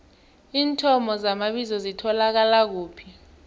iinthomo zamabizo zitholakala kuphi